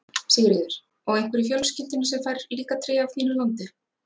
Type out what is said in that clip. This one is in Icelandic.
Sigríður: Og einhver í fjölskyldunni sem fær líka tré af þínu landi?